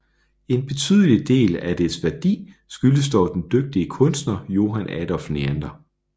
En betydelig del af dets værdi skyldes dog den dygtige kunstner Johann Adolph Neander